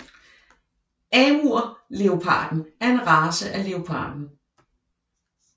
Amurleoparden er en race af leoparden